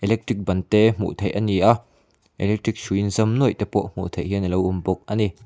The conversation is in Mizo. electric ban te hmuh thei a ni a electric hrui in zam nuaih te pawh hmu thei hian alo awm bawk a ni.